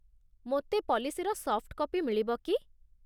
ମୋତେ ପଲିସିର soft copy ମିଳିବ କି?